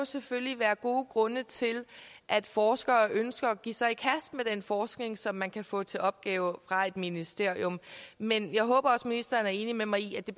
selvfølgelig være gode grunde til at forskere ønsker at give sig i kast med den forskning som man kan få til opgave fra et ministerium men jeg håber også at ministeren er enig med mig i at det